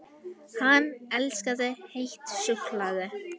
HANN ELSKAÐI HEITT SÚKKULAÐI!